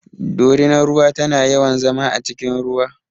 Dorinar ruwa tana yawan zama a cikin ruwa.